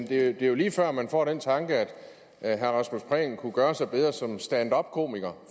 det er lige før man får den tanke at herre rasmus prehn kunne gøre sig bedre som stand up komiker